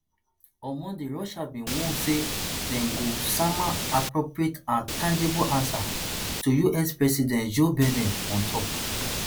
on monday russia bin warn say dem go sama appropriate and tangible answer to us president joe biden on top